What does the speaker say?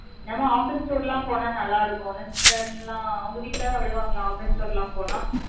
நம்ம, office tour லாம், போனா, நல்லா இருக்கும். என்ன, sister நீங்கெல்லாம், அவங்க வீட்டுலதான், விடுவாங்களா? office tour லாம், போனா